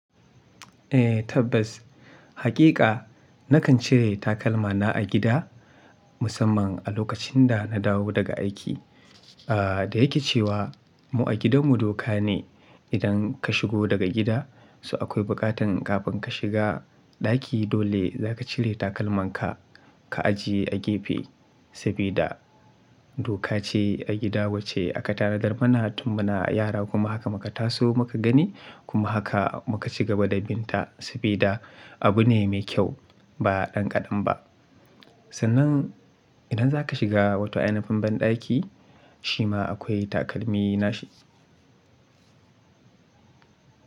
Eh tabbas, haƙiƙa nakan cire takalma na a gida musamman a lokacin da na dawo daga aiki. Ah da yake cewa mu a gidan mu doka ne idan ka shigo daga gida, so akwai buƙatan kafin ka shiga ɗaki dole za ka cire takalman ka, ka ajiye a gefe sabida doka ce a gida wacce aka tanadar mana tun muna yara kuma haka muka taso muka gani kuma haka muka cigaba da bin ta sabida abu ne mai kyau ba ɗanƙaɗen ba. Sannan idan za ka shiga wata ainifin banɗaki shi ma akwai takalmi nashi.